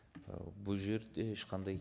і бұл жерде ешқандай